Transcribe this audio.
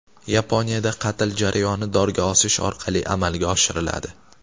Yaponiyada qatl jarayoni dorga osish orqali amalga oshiriladi.